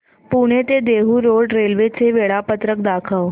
पुणे ते Dehu Road railway चे वेळापत्रक दाखव